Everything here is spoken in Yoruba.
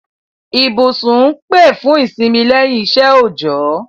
Ibúsùn n pè fùn ìsínmí lẹ́yìn isẹ́ òòjọ́